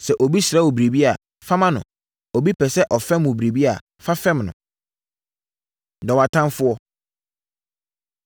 Sɛ obi srɛ wo biribi a, fa ma no; obi pɛ sɛ ɔfɛm wo hɔ biribi a, fa fɛm no. Dɔ Wʼatamfoɔ